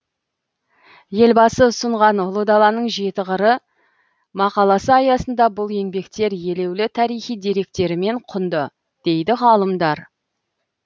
елбасы ұсынған ұлы даланың жеті қыры мақаласы аясында бұл еңбектер елеулі тарихи деректерімен құнды дейді ғалымдар